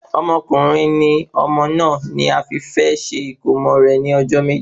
Ọkùnrin ni ọmọ náà ni a fi fẹ ṣe ìkómo rẹ ní ọjọ́ méje